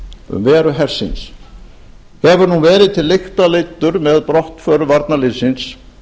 um veru hersins hefur nú verið til lykta leiddur með brottför varnarliðsins